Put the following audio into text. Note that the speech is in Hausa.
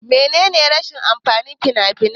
Mene ne rashin amfanin fina-finai?